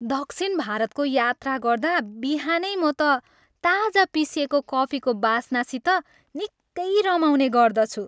दक्षिण भारतको यात्रा गर्दा बिहानै म त ताजा पिसिएको कफीको बास्नासित निक्कै रमाउने गर्दछु।